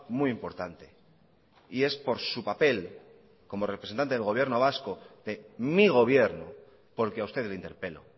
muy importante y es por su papel como representante del gobierno vasco de mi gobierno porque a usted le interpelo